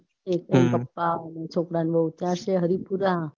ના પપ્પા અને છોકરાની વહુ ત્યાં છે હરિપુરા